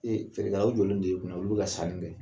Ee feerkɛaw jɔlen don e kunna olu bɛ ka sani kɛ.